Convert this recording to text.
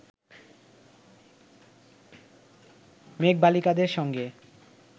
মেঘবালিকাদের সঙ্গে